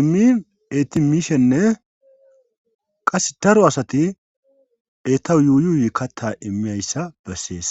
immin etimiishenne qasse daro asati etau yuuyuuy katta immiyayssa bessees